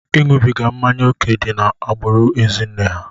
Ịṅụbiga mmanya ókè dị n'agbụrụ ezinna ha.